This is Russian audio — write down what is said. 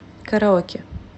караоке